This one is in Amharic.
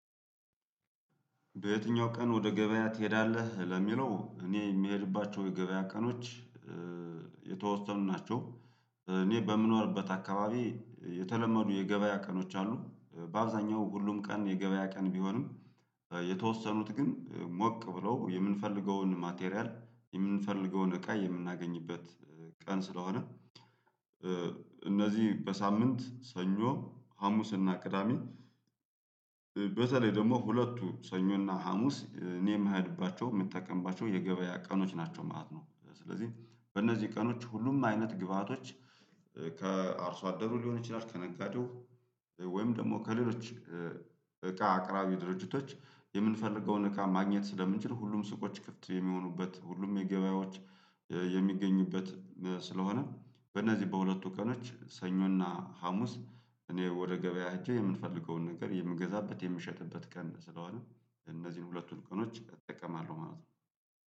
በየትኛው ቀን ወደ ገበያ ትሄዳለህ? ለሚለው እኔ የምሄድባቸው የገበያ ቀኖች የተወሰኑ ናቸው። እኔ በምንወርበት አካባቢ የተለመዱ የገበያ ቀኖች አሉ። በአብዛኛው ሁሉም ቀን የገበያ ቀን ቢሆንም የተወሰኑት ግን ሞቅ ብለው የምንፈልገውን ማቴሪያል የምንፈልገውን እቃ የምናገኝበት ቀን ስለሆነ እነዚህ በሳምንት ሰኞ ሀሙስና ቅዳሜ። በተለይ ደግሞ ሁለቱ ሰኞና ሀሙስ እኔ የምሄድባቸው የምጠቀምባቸው የገበያ ቀኖች ናቸው ማለት ነው። ስለዚህ በእነዚህ ቀኖች ሁሉም አይነት ግብአቶች ከአርሶ አደሩ ሊሆን ይችላል ከነጋዴው ወይም ደግሞ ከሌሎች እቃ አቅራቢ ድርጅቶች የምንፈልገውን እቃ ማግኘት ስለምንችል ሁሉም ሱቆች ክፍት የሚሆኑበት ሁሉም የገበያዎች የሚገኙበት ስለሆነ በእነዚህ በሁለቱ ቀኖች ሰኞና ሀሙስ። እኔ ወደ ገበያ ሄጄ የምንፈልገውን ነገር የምገዛበት የምሸጥበት ቀን ስለሆነ እነዚህን ሁለቱን ቀኖች እጠቀማለሁ ማለት ነው።